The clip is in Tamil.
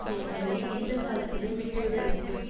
செயல்களை எந்த காலத்திலும் விட்டுவிட வேண்டும்